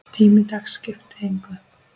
Tími dags skipti engu.